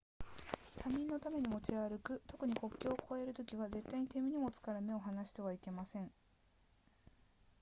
他人のために持ち歩く特に国境を越えるときは絶対に手荷物から目を離してはいけません